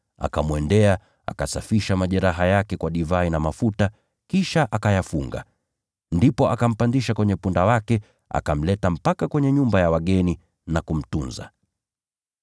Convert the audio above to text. Akaenda alipokuwa na akasafisha majeraha yake kwa divai na mafuta, kisha akayafunga. Ndipo akampandisha kwenye punda wake, akampeleka mpaka kwenye nyumba ya wageni na kumtunza.